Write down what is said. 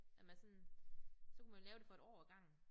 At man sådan så kunne man lave det for et år ad gangen